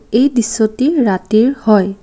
এই দৃশ্যটি ৰাতিৰ হয়।